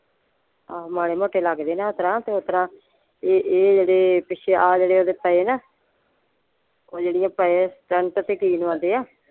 ਆਹੋ ਮਾੜੇ ਮੋਟੇ ਲੱਗਦੇ ਨੇ ਓਸਤਰਾਂ ਤੇ ਓਸਤਰਾਂ ਇਹ ਇਹ ਜਿਹੜੇ ਪਿੱਛੇ ਆਹ ਜਿਹੜੇ ਉਹਦੇ ਪਏ ਆ ਨਾ ਓਹ ਜਿਹੜੇ ਪਏ ਆ ਤੇ ਕੀ ਲਵਾਉਂਦੇ ਆ?